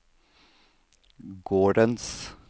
gårdens